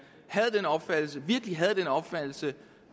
virkelig har den opfattelse